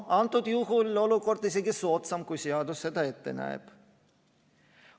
Antud juhul on olukord isegi soodsam, kui seadus seda ette näeb.